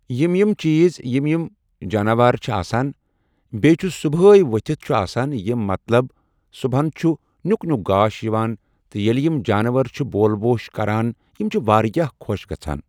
یِم یِم چیٖز یِم یِم جانوار چھِ آسان بیٚیہِ چھُس صبحے ؤتھِتھ چھِ آسان یِم مطلب صبُحن چھُ نیُک نیُک گاش یِوان تہٕ ییٚلہِ یِم جانور چھِ بول بوش کَران یِم چھِ واریاہ خۄش گژھان۔